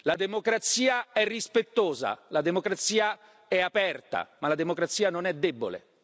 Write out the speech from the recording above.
La democrazia è rispettosa, la democrazia è aperta, ma la democrazia non è debole.